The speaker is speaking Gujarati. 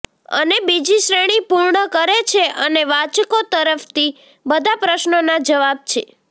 અને બીજી શ્રેણી પૂર્ણ કરે છે અને વાચકો તરફથી બધા પ્રશ્નોના જવાબ છે